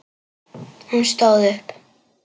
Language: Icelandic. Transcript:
Hún stóð upp.